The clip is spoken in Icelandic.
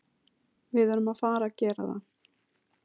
Við erum að fara að gera það.